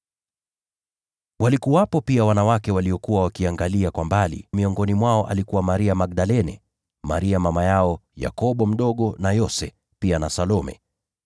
Walikuwepo pia wanawake waliokuwa wakiangalia kwa mbali. Miongoni mwao walikuwepo Maria Magdalene, na Maria mama yao Yakobo mdogo na Yose, pia na Salome.